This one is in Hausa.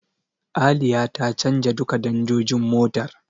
Aliya ta canja duka danjojin motar.